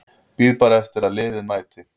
Bíð bara eftir að liðið mæti.